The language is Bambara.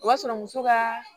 O b'a sɔrɔ muso ka